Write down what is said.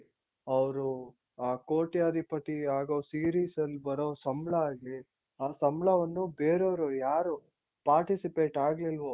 ಅವ್ರು ಆ ಕೋಟ್ಯಾಧಿಪತಿ ಆಗೋ series ಅಲ್ ಬರೋ ಸಂಬಳ ಆಗ್ಲಿ ಆ ಸಂಬಳವನ್ನು ಬೇರೆಯವ್ರು ಯಾರು participate ಆಗ್ಲಿಲ್ವೋ